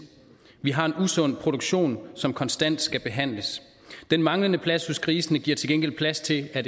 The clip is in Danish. vi har en usund produktion som konstant skal behandles den manglende plads hos grisene giver til gengæld plads til at